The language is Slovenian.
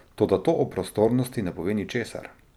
Toda to o prostornosti ne pove ničesar.